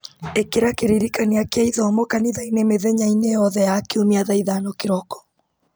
ĩkĩra kĩririkania kĩa ithomo kanitha-inĩ mĩthenya-inĩ yothe ya kiumia thaa ithano kĩroko